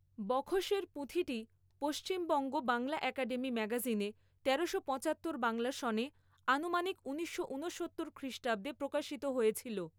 বখশের পূঁথিটি পশ্চিমবঙ্গ বাংলা একাডেমী ম্যাগাজিনে তেরোশো পচাত্তর বাংলা সনে আনুমানিক ঊনিশশো উনসত্তর খ্রিষ্টাব্দে প্রকাশিত হয়েছিল।